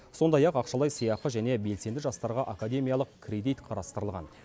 сондай ақ ақшалай сыйақы және белсенді жастарға академиялық кредит қарастырылған